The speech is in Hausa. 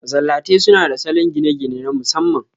Masallatai suna da salon gine-gine na masamman.